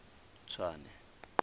tswane